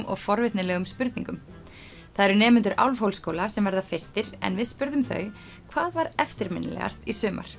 og forvitnilegum spurningum það eru nemendur sem verða fyrstir en við spurðum þau hvað var eftirminnilegast í sumar